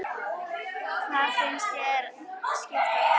Hvað finnst þér skipta máli?